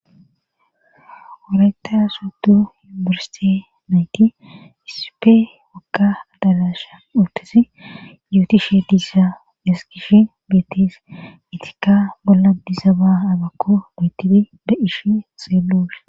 Orayta soodu yubursse nayti isipe wakka adalasha utesi yuuti she diissa eskishi beetis itika bolla dizaba agakko betisi da'ish seelo.